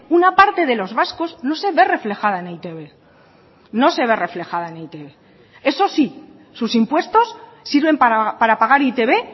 una parte de los vascos no se ve reflejada en e i te be no se ve reflejada en e i te be eso sí sus impuestos sirven para pagar e i te be